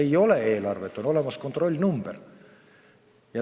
Ei ole eelarvet, on olemas kontrollnumber!